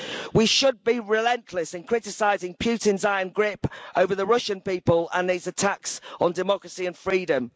We should be relentless in criticising Putin's iron grip over the Russian people and these attacks on democracy and freedom.